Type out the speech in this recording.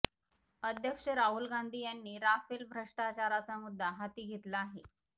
अध्यक्ष राहुल गांधी यांनी राफेल भ्रष्टाचाराचा मुद्दा हाती घेतला आहे